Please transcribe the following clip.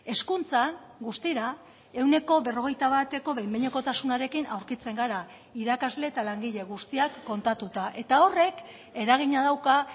hezkuntzan guztira ehuneko berrogeita bateko behin behinekotasunarekin aurkitzen gara irakasle eta langile guztiak kontatuta eta horrek eragina dauka